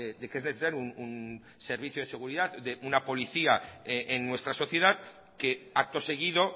de que es necesario un servicio de seguridad de una policía en nuestra sociedad que acto seguido